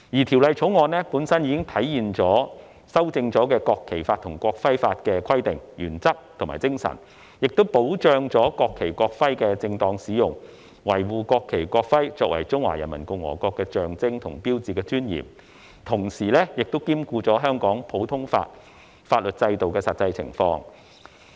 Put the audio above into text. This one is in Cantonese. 《條例草案》本身已體現經修正《國旗法》及《國徽法》的規定、原則和精神，並保障國旗和國徽的正當使用，維護國旗和國徽作為中華人民共和國的象徵和標誌的尊嚴，同時兼顧香港普通法法律制度的實際情況。